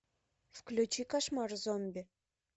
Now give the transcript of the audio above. включи кошмар зомби